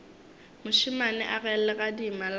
mošemane a ge legadima la